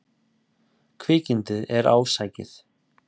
Kvikindið er ásækið.